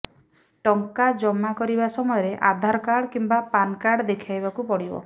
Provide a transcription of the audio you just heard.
ଟଙ୍କା ଜମା କରିବା ସମୟରେ ଆଧାରକାର୍ଡ କିମ୍ବା ପାନ୍କାର୍ଡ ଦେଖାଇବାକୁ ପଡ଼ିବ